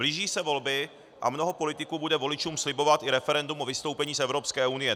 Blíží se volby a mnoho politiků bude voličům slibovat i referendum o vystoupení z Evropské unie.